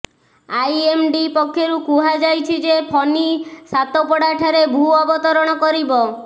IMD ପକ୍ଷରୁ କୁହାଯାଇଛି ଯେ ଫନି ସାତପଡ଼ାଠାରେ ଭୂ ଅବତରଣ କରିବ